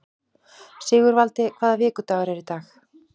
Sigurvaldi, hvaða vikudagur er í dag?